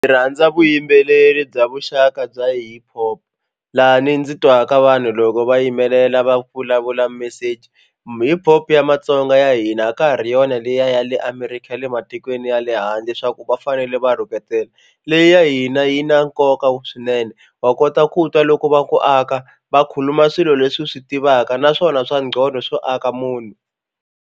Rhandza vuyimbeleri bya vuxaka bya hiphop laha ni ndzi twaka vanhu loko va yimelela va vulavula message hiphop ya matsonga ya hina a ka ha ri yona liya ya le America ya le ma tikweni ya le handle swa ku va fanele va rhuketela leyi ya hina yi na nkoka swinene wa kota ku twa loko va ku aka va khuluma swilo leswi hi swi tivaka naswona swa ngcondo swo aka munhu.